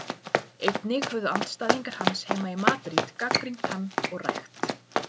Einnig höfðu andstæðingar hans heima í Madríd gagnrýnt hann og rægt.